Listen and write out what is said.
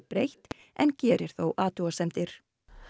breytt en gerir þó athugasemdir